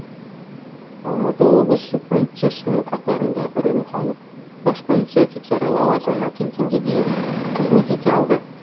алматы облысы полициясының қатарында үрімханов бас полиция офицері лауазымына келгенге дейін қызмет ете алды